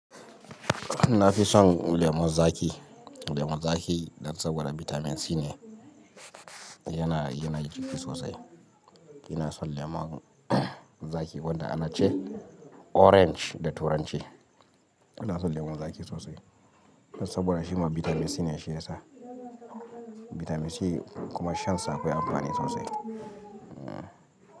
Nafi son lemun zaƙi, lemun zaƙi dan saboda bitamin C ne yana, yana jiki sosai. Ina son lemon zaƙi wanda ana ce orange da turanci. Ina son lemon zaƙi sosai saboda shima bitamin C ne shi ya sa. Bitamin C kuma shan sa akwai amfani sosai.